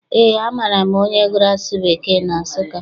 Eé, amaara m onye gụrụ asụsụ Bekee na Nsụka.